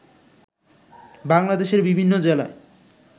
বাংলাদেশের বিভিন্ন জেলায়